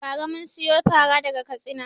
Ba ra mun siyo fara daga Katsina